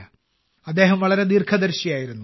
അദ്ദേഹം വളരെ ദീർഘദർശിയായിരുന്നു